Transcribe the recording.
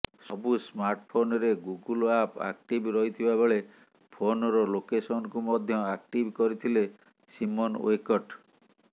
ସବୁ ସ୍ମାର୍ଟଫୋନରେ Google map active ରହିଥିବା ବେଳେ ଫୋନର ଲୋକେସନକୁ ମଧ୍ୟ ଆକ୍ଟିଭ୍ କରିଥିଲେ ସିମୋନ ୱେକର୍ଟ